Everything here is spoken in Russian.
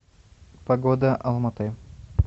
погода алматы